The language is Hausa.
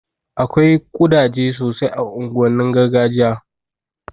Akwai ƙudaje sosai a unguwannin gargajiya